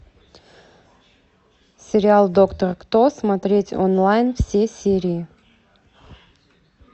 сериал доктор кто смотреть онлайн все серии